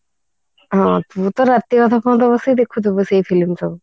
ହଁ ତୁ ତ ରାତି ଅଧା ପାହାନ୍ତା ବସିକି ଦେଖୁଥିବୁ ସେ film ସବୁ